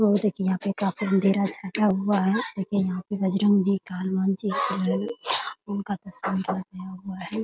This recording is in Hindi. और देखिये यहाँ काफी अँधेरा सटा हुआ है देखिये यहाँ पे बजरंग जी का हनुमान जी का उनका प्रसंग किया हुआ है ।